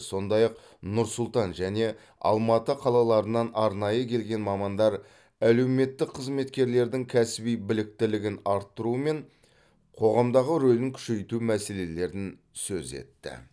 сондай ақ нұр сұлтан және алматы қалаларынан арнайы келген мамандар әлеуметтік қызметкерлердің кәсіби біліктілігін арттыру мен қоғамдағы рөлін күшейту мәселелерін сөз етті